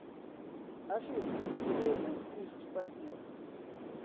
афина у тебя есть близкий партнер